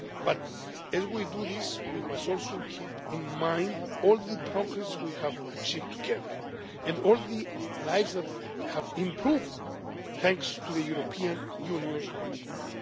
But as we do this, we must also keep in mind all the progress we have achieved together, and all the lives that have improved thanks to the European Union's commitment.